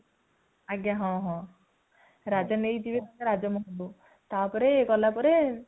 ଆଜ୍ଞା ହଁ ହଁ ରାଜା ନେଇକି ଯିବେ ରାଜମହଲ କୁ ତା ପରେ ଗଲା ପରେ